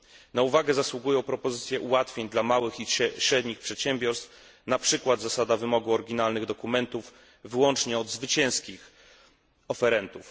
Na uwagę zasługują propozycje ułatwień dla małych i średnich przedsiębiorstw, na przykład zasada wymogu oryginalnych dokumentów wyłącznie od zwycięskich oferentów.